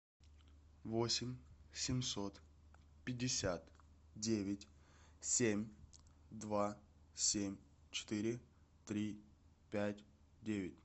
восемь семьсот пятьдесят девять семь два семь четыре три пять девять